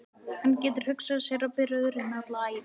Hann getur hugsað sér að bera örin alla ævi.